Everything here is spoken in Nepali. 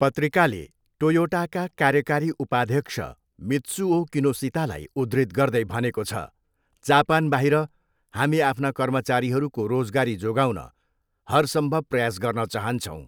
पत्रिकाले टोयोटाका कार्यकारी उपाध्यक्ष मित्सुओ किनोसितालाई उद्धृत गर्दै भनेको छ, जापानबाहिर, हामी आफ्ना कर्मचारीहरूको रोजगारी जोगाउन हरसम्भव प्रयास गर्न चाहन्छौँ।